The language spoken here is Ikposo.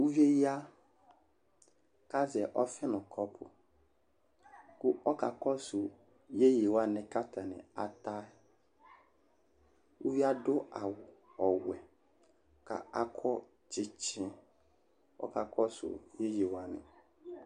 Uvie ya, ku azɛ ɔfi nu kɔpu , ku ɔka kɔsu yeye wʋani ku ata ni ata , uvie adu awu ɔwɛ ku akɔ tsitsi, ku ɔka kɔsu yeye wʋani